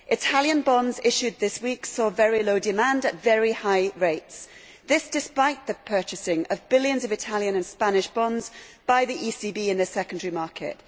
Italian bonds issued this week saw very low demand at very high rates, despite the purchasing of billions of Italian and Spanish bonds by the ECB in the secondary market.